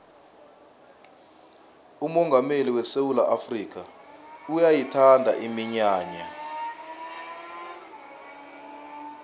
umongameli wesewula afrikha uyayithanda iminyanya